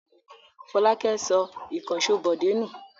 Fọlákẹ́ sọ ìkànṣó Bọ̀dé nù?